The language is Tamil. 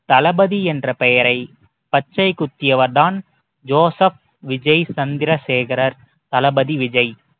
தளபதி என்ற பெயரை பச்சை குத்தியவர் தான் ஜோசப் விஜய் சந்திரசேகரர் தளபதி விஜய்